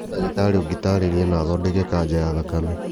No ndagĩtarĩ ũngĩtarĩria na athondeke kanja ya thakame.